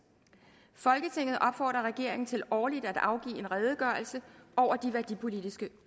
folketinget opfordrer regeringen til årligt at afgive en redegørelse over de værdipolitiske